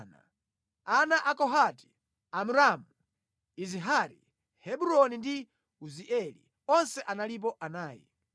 Ana a Kohati: Amramu, Izihari, Hebroni ndi Uzieli. Onse analipo anayi.